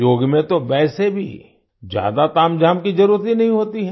योग में तो वैसे भी ज्यादा तामझाम की जरुरत ही नहीं होती है